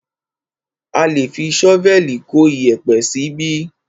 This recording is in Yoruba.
A lé fi ṣọ́vẹ̀lì kó iyẹ̀pẹ̀ síbí.